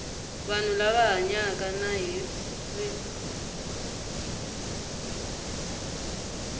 vanhu lava hanyaka na hiv